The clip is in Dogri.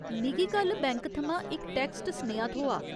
मिगी कल बैंक थमां इक टैक्स्ट सनेहा थ्होआ।